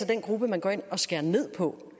den gruppe man går ind og skærer ned på